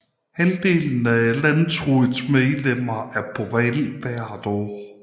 Halvdelen af landsrådets medlemmer er på valg hvert år